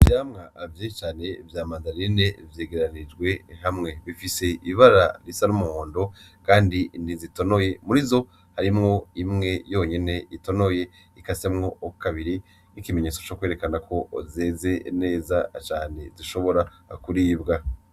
ivyamwa vyinshi cane vya mandarina vyegeranijwe hamwe bifise ibara risa n'umuhondo kandi ntizitonoye ,Murizo harimwo imwe yonyene itonoye ikasemwo kabiri nk'ikimenyetso cokwerekanako zeze neza cane zishobora kuribwa.